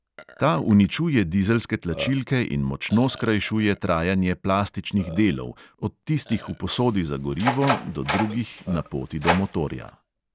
Ta uničuje dizelske tlačilke in močno skrajšuje trajanje plastičnih delov, od tistih v posodi za gorivo do drugih na poti do motorja.